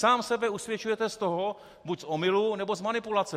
Sám sebe usvědčujete z toho - buď z omylu, nebo z manipulace.